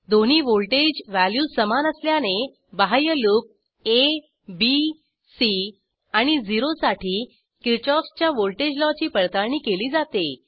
दोन्ही voltage values समान असल्याने बाह्य लूप आ बी सी आणि 0 साठी किरशॉफ च्या व्हॉल्टेज लॉची पडताळणी केली जाते